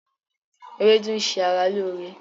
Ewédú ń ṣe ara lóore